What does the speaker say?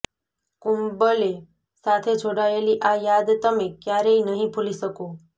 કુંબલે સાથે જોડાયેલી આ યાદ તમે ક્યારેય નહીં ભૂલી શકો